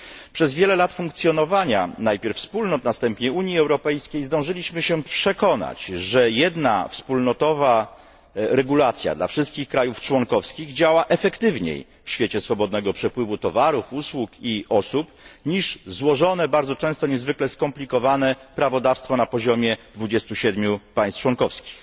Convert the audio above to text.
Przez wiele lat funkcjonowania najpierw Wspólnot, a potem Unii Europejskiej, zdążyliśmy się przekonać, że jedna wspólnotowa regulacja dla wszystkich krajów członkowskich działa skuteczniej w świecie swobodnego przepływu towarów, usług i osób niż złożone, bardzo często niezwykle skomplikowane prawodawstwo na poziomie 27 państw członkowskich.